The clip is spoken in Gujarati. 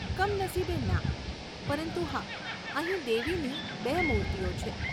કમનસીબે, ના, પરંતુ હા, અહીં દેવીની બે મૂર્તિઓ છે.